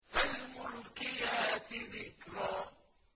فَالْمُلْقِيَاتِ ذِكْرًا